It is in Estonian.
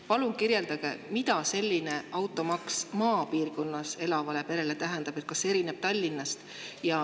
Palun kirjeldage, mida selline automaks maapiirkonnas elavale perele tähendab ja kas see erineb Tallinnast.